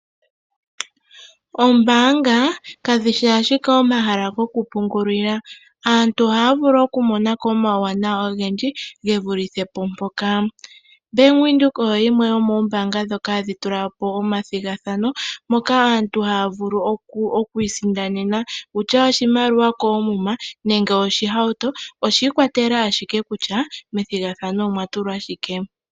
Oombaanga kadhi shi ashike omahala goku pungula. Aantu ohaya vulu okumona ko omawuwanawa ogendji ge fulithe po mpoka. Bank Windhoek oyo yimwe yomoombaanga ndhoka hadhi tula po omathigathano, moka aantu haya vulu okuisindanena sha tashi vulu okukala oshimaliwa koomuma nenge oshihauto. Oshi ikwatela ashike kutya methigathano omwa tulwa shike.